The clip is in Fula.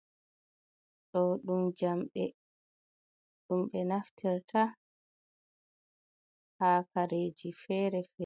Ɗo ɗum jamɗe, ɗum be naftirta ha kareji fere fere.